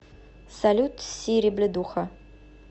салют сири блядуха